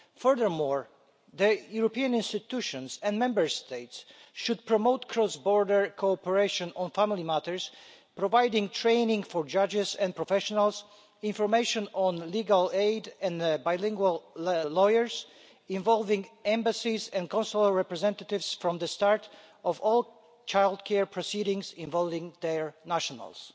Furthermore, the European institutions and Member States should promote cross border cooperation on family matters, providing training for judges and professionals, information on legal aid, and bilingual lawyers, and involving embassies and consular representatives from the start of all childcare proceedings involving their nationals.